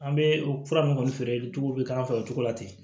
An bɛ o fura ninnu kɔni feere cogow bɛ k'an fɛ o cogo la ten